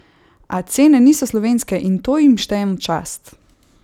A cene niso slovenske in to jim štejem v čast!